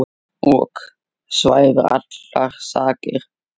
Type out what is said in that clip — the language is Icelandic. ok svæfir allar sakir.